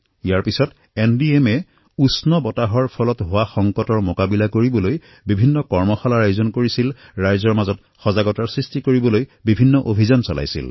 ইয়াৰ পিছত এনডিএমএয়ে উষ্ণ প্ৰৱাহৰ ব্যৱস্থাপনাৰ বাবে কৰ্মশালাৰ আয়োজিত কৰিছে জনসাধাৰণৰ মাজত সজাগতা বৃদ্ধিৰ বাবে অভিযান আৰম্ভ কৰিছে